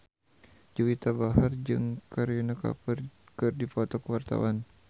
Juwita Bahar jeung Kareena Kapoor keur dipoto ku wartawan